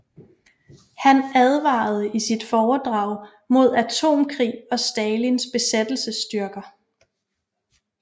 Han advarede i sit foredrag mod atomkrig og Stalins besættelsesstyrker